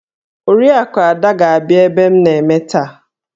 Oriakụ Ada ga-abia ebe m na-eme taa